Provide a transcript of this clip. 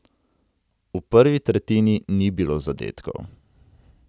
V prvi tretjini ni bilo zadetkov.